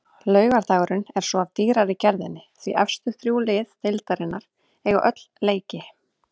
Laugardagurinn er svo af dýrari gerðinni því efstu þrjú lið deildarinnar eiga öll leiki.